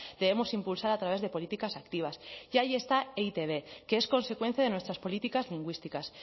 debemos impulsar a través de políticas activas y ahí está e i te be que es consecuencia de nuestras políticas lingüísticas